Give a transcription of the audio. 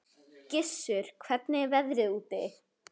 Gissur, hvernig er veðrið úti?